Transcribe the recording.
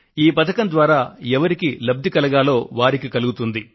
ఈ పథకం ద్వారా ఎవరికి లబ్ది కలుగుతుందో వారికి కలుగుతుంది